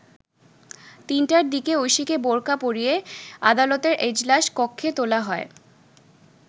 ৩টার দিকে ঐশীকে বোরকা পরিয়ে আদালতের এজলাস কক্ষে তোলা হয়।